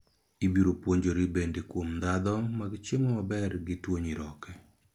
Ibiro puonjori bende kuom ndhadho mag chiemo maber gi tuo nyiroke